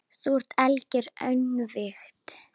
Þú ert algert öngvit!